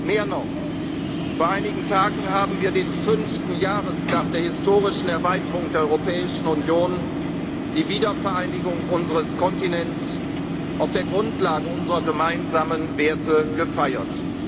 wieder. Mehr noch Vor einigen Tagen haben wir den fünften Jahrestag der historischen Erweiterung der Europäischen Union, die Wiedervereinigung unseres Kontinents auf der Grundlage unserer gemeinsamen Werte